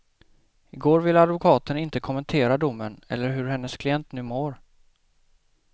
Igår ville advokaten inte kommentera domen eller hur hennes klient nu mår.